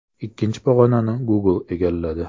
Ikkinchi pog‘onani Google egalladi.